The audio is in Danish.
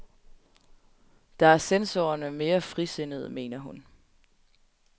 Der er censorerne mere frisindede, mener hun.